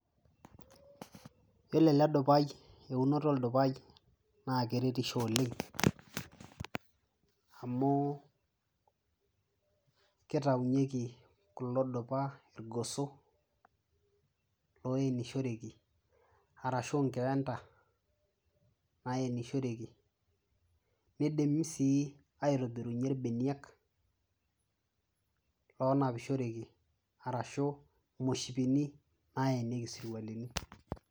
yiolo ele dupai eunoto oldupai naa keretisho oleng amu kitaunyieki kulo dupa irgoso loenishoreki arashu inkeenta nayenishoreki nidim sii aitobirunyie irbeniak lonapishoreki arashu imoshipin nayenieki isirkwalini.